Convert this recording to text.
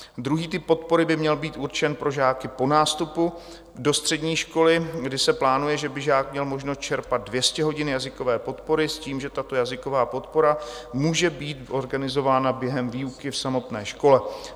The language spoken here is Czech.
Druhý typ podpory by měl být určen pro žáky po nástupu do střední školy, kdy se plánuje, že by žák měl možnost čerpat 200 hodin jazykové podpory s tím, že tato jazyková podpora může být organizována během výuky v samotné škole.